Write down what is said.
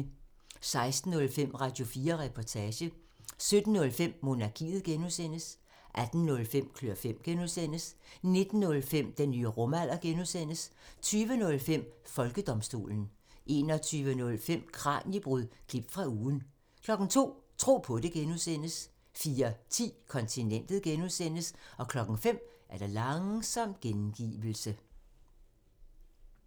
16:05: Radio4 Reportage 17:05: Monarkiet (G) 18:05: Klør fem (G) 19:05: Den nye rumalder (G) 20:05: Folkedomstolen 21:05: Kraniebrud – klip fra ugen 02:00: Tro på det (G) 04:10: Kontinentet (G) 05:00: Langsom gengivelse